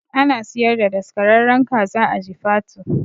Ana siyar da daskararren kaza a jifatu